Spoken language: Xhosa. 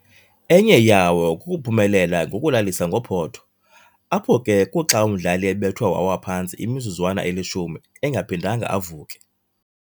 Enye yawo kukuphumelela ngokulalisa ngophotho, apho ke kuxa umdlali ebethwe wawa phantsi imizuzwana elishumi engephindanga avuke.